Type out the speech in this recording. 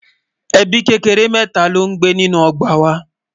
ẹbí kékeré mẹta ló ní gbé nínú ogbà wà